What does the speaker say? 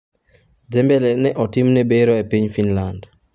Dembele ne otimne bero e piny Finland.